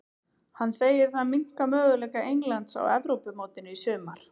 Hann segir það minnka möguleika Englands á Evrópumótinu í sumar.